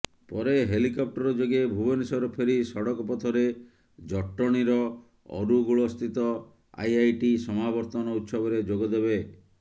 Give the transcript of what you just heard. ପରେ ହେଲିକପ୍ଟର ଯୋଗେ ଭୁବନେଶ୍ୱର ଫେରି ସଡକ ପଥରେ ଜଟଣୀର ଅରୁଗୁଳସ୍ଥିତ ଆଇଆଇଟି ସମାବର୍ତନ ଉତ୍ସବରେ ଯୋଗଦେବେ